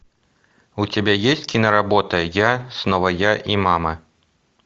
у тебя есть киноработа я снова я и мама